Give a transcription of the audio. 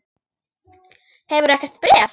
Hefurðu ekkert bréf?